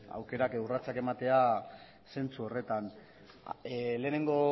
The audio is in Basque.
aukerak edo urratsak ematea zentsu horretan lehenengo